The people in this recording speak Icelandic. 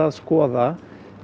skoða